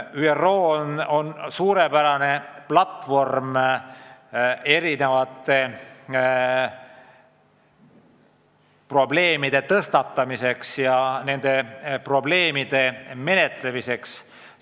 ÜRO on suurepärane platvorm erinevate probleemide tõstatamiseks ja nende lahenduste üle arutamiseks.